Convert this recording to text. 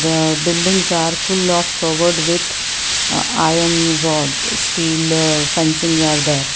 aa buildings are full of covered with i iron rods steel fencing are there.